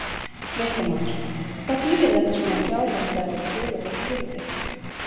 Fréttamaður: Hvað þýðir þetta svona fjárhagslega fyrir þig og þitt fyrirtæki?